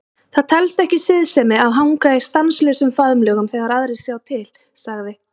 Það telst ekki siðsemi að hanga í stanslausum faðmlögum þegar aðrir sjá til, sagði